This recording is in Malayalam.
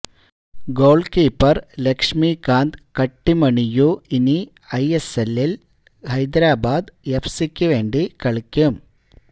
ഗോൾകീപ്പർ ലക്ഷ്മികാന്ത് കട്ടിമണിയു ഇനി ഐഎസ്എല്ലിൽ ഹൈദരബാദ് എഫ് സിക്ക് വേണ്ടി കളിക്കും